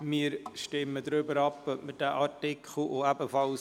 Wir stimmen darüber ab, ob wir diesen Artikel an die Kommission zurückweisen.